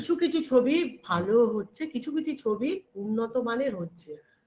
কিছু কিছু ছবি ভালোও হচ্ছে কিছু কিছু ছবি উন্নত মানের হচ্ছে